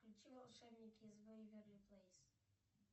включи волшебники из вэйверли плэйс